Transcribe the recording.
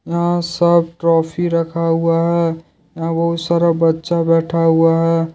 यहां सब ट्रॉफी रखा हुआ है यहां बहुत सारा बच्चा बैठा हुआ है।